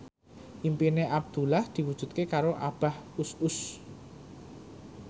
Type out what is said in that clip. impine Abdullah diwujudke karo Abah Us Us